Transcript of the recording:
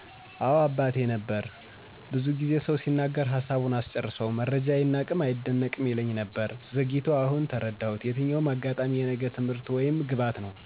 አወ ነበር አባቴ ነበር። ብዙ ጊዜ ሰው ሲናገር ሀሳቡን አስጨርሰው መረጃ አይናቅም አይደነቅም ይለኝ ነበር። ዘግይቶ አሁን ተረዳሁት የትኛውም አጋጣሚ የነገ ትምህርት ወይም ግባት ነው።